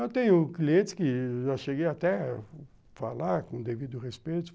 Eu tenho clientes que eu já cheguei até a falar com devido respeito.